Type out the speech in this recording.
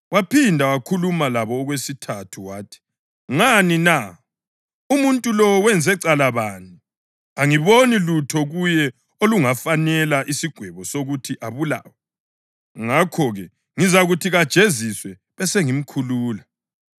Waphinda wakhuluma labo okwesithathu wathi, “Ngani na? Umuntu lo wenze cala bani? Angiboni lutho kuye olungafanela isigwebo sokuthi abulawe. Ngakho-ke, ngizakuthi kajeziswe besengimkhulula.”